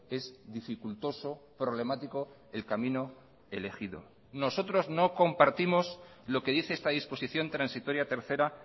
es dificultoso problemático el camino elegido nosotros no compartimos lo que dice esta disposición transitoria tercera